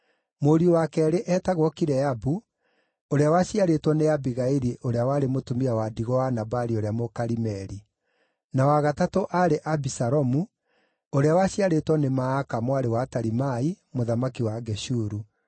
Mũriũ wa keerĩ eetagwo Kileabu ũrĩa waciarĩtwo nĩ Abigaili ũrĩa warĩ mũtumia wa ndigwa wa Nabali ũrĩa Mũkarimeli; na wa gatatũ aarĩ Abisalomu ũrĩa waciarĩtwo nĩ Maaka mwarĩ wa Talimai mũthamaki wa Geshuru;